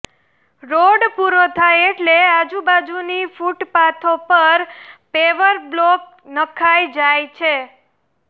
road પૂરો થાય એટલે આજુબાજુની ફૂટપાથો પર પેવર બ્લોક નંખાઇ જાય છે